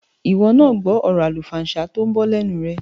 Ìwọ náà gbọ́ ọ̀rọ̀ àlùfàǹsá tó ń bọ́ lẹ́nu rẹ̀.